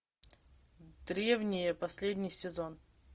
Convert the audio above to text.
древние последний сезон